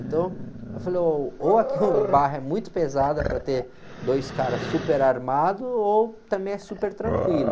Então, eu falei, ô, ou aqui o barro é muito pesado para ter dois caras super armados, ou também é super tranquilo.